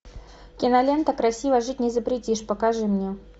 кинолента красиво жить не запретишь покажи мне